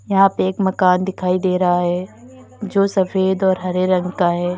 यहां पे एक मकान दिखाई दे रहा है जो सफेद और हरे रंग का है।